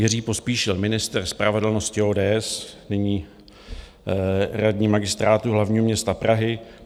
Jiří Pospíšil, ministr spravedlnosti ODS, nyní radní Magistrátu hlavního města Prahy: